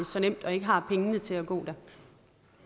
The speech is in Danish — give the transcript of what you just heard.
så nemt og ikke har pengene til at gå der